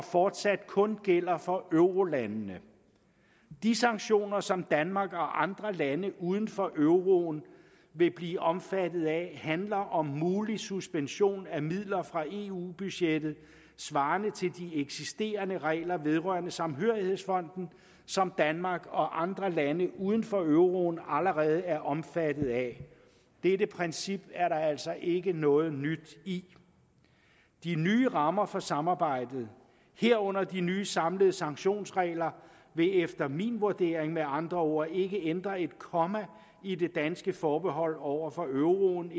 fortsat kun gælder for eurolandene de sanktioner som danmark og andre lande uden for euroen vil blive omfattet af handler om en mulig suspension af midler fra eu budgettet svarende til de eksisterende regler vedrørende samhørighedsfonden som danmark og andre lande uden for euroen allerede er omfattet af dette princip er der altså ikke noget nyt i de nye rammer for samarbejdet herunder de nye samlede sanktionsregler vil efter min vurdering med andre ord ikke ændre et komma i det danske forbehold over for euroen